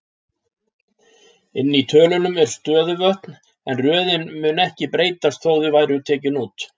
Inni í tölunum eru stöðuvötn, en röðin mundi ekki breytast þótt þau væru tekin út.